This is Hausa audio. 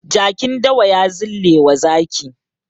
Jakin dawa ya zillewa zaki.